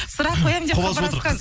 сұрақ қоям деп хабарласқан